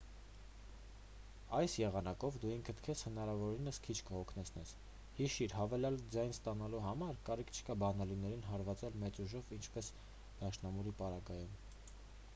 այս եղանակով դու ինքդ քեզ հնարավորինս քիչ կհոգնեցնես հիշիր հավելյալ ձայն ստանալու համար կարիք չկա բանալիներին հարվածել մեծ ուժով ինչպես դաշնամուրի պարագայում